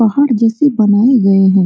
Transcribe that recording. पहाड़ जैसे बनाये गये हैं।